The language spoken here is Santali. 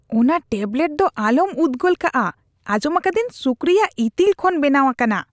ᱚᱱᱟ ᱴᱮᱵᱞᱮᱴ ᱫᱚ ᱟᱞᱚᱢ ᱩᱫxᱜᱚᱞ ᱠᱟᱜᱼᱟ ᱾ ᱟᱸᱡᱚᱢ ᱟᱠᱟᱫᱟᱹᱧ ᱥᱩᱠᱨᱤ-ᱟᱜ ᱤᱛᱤᱞ ᱠᱷᱚᱱ ᱵᱮᱱᱟᱣ ᱟᱠᱟᱱᱟ ᱾